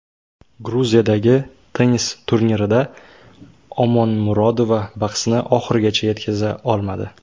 Gruziyadagi tennis turnirida Omonmurodova bahsni oxirigacha yetkaza olmadi.